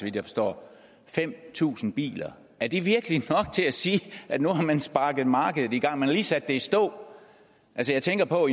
jeg forstår fem tusind biler er det virkelig nok til at sige at nu har man sparket markedet i gang man har lige sat det i stå jeg tænker på